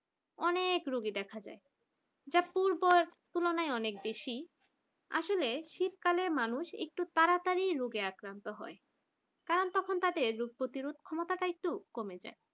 অনেক রোগী দেখা যায় যা পূর্বে তুলনায় অনেক বেশি আসলে শীতকালে মানুষ একটু তাড়াতাড়ি রোগে আক্রান্ত হয় কারণ তাদের তখন রোগ প্রতিরোধের ক্ষমতা টা একটু কমে যায়